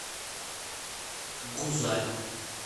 гузаль